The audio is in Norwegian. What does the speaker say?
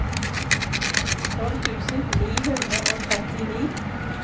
tolv tusen ni hundre og trettini